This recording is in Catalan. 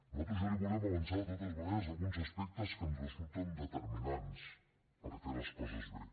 nosaltres ja li volem avançar de totes maneres alguns aspectes que ens resulten determinants per fer les coses bé